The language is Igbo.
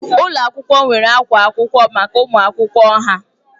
Ụlọ akwụkwọ nwere akwa akwụkwọ maka ụmụ akwụkwọ ha